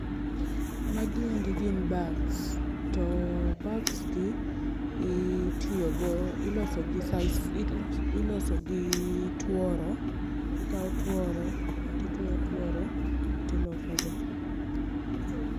Magi endi gin bags to bags gi itiyogo, ilosogi ,losogi gi sisal, ilosogi gi tuoro. Ikawo tuoro tituoyo tuoro tilosogi.